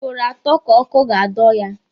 Ugboro atọ ka ọkụ ga-adọ ya.